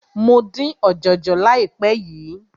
Mo dín ọ̀jọ̀jọ̀ láìpé yìí.